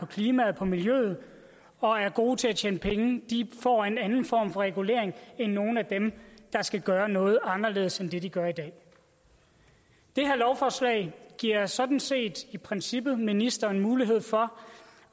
klimaet på miljøet og er gode til at tjene penge får en anden form for regulering end nogle af dem der skal gøre noget anderledes end det de gør i dag det her lovforslag giver sådan set i princippet ministeren mulighed for